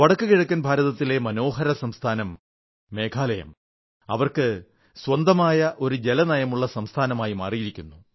വടക്കു കിഴക്കൻ ഭാരതത്തിലെ മനോഹര സംസ്ഥാനം മേഘാലയ സ്വന്തമായ ഒരു ജലനയമുള്ള സംസ്ഥാനമായി മാറിയിരിക്കുന്നു